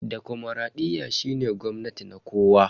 Demokradiyya shine gwamnati na kowa.